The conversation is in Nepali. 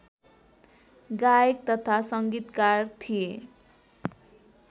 गायक तथा संगीतकार थिए